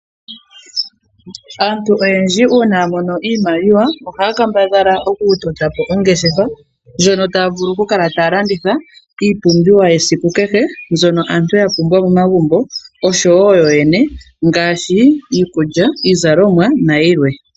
Aantu oyendji uuna ya mono iimaliwa ohaya kambadhala okutota po ongeshefa ndjono taya vulu okukala taya landitha iipumbiwa mbyono yesiku kehe mbyono aantu ya pumbwa momagumbo oshowo yo yene ngaashi iikulya, iizalomwa nayilwe.